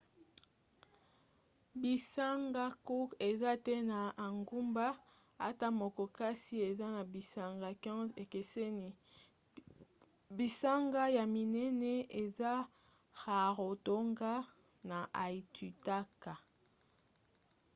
bisanga cook eza te na engumba ata moko kasi eza na bisanga 15 ekeseni. bisanga ya minene eza rarotonga na aitutaki